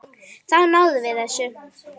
Þá náðum við þessu.